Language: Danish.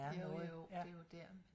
Jo jo det er jo der